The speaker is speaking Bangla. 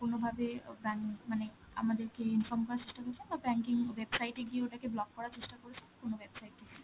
কোনো ভাবে অ্যাঁ bank মানে আমাদেরকে inform করার চেষ্টা করেছেন? না banking website এগিয়ে ওইটা কে block করার চেষ্টা করেছেন কোনো website থেকে?